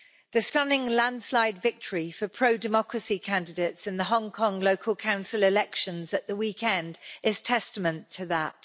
The stunning landslide victory for pro democracy candidates in the Hong Kong local council elections at the weekend is testament to that.